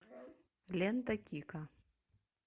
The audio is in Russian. лента кика